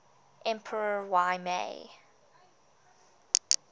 emperor y mei